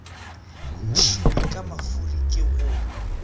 ntšhiwe ka mafuri ke go